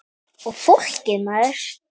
Og fólkið maður.